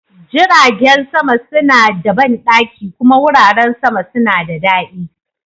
Jiragen sama suna da banɗaki kuma wuraren zama suna da daɗi.